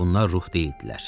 Bunlar ruh deyildilər.